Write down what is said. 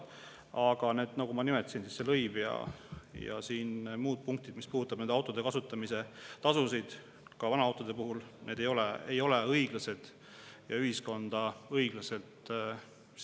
Aga nagu ma nimetasin, see lõiv ja muud punktid, mis puudutavad autode kasutamise tasusid, ka vanaautode puhul, ei ole õiglased ega kohtle ühiskonda õiglaselt.